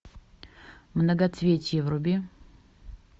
многоцветие вруби